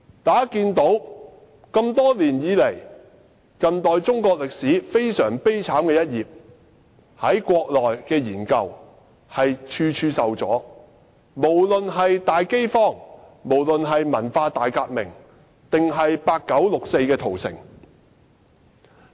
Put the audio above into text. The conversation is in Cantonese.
大家都知道，多年來，有關近代中國歷史悲慘一頁的研究，在國內處處受阻，不管是大飢荒、文化大革命，抑或是八九六四屠城亦然。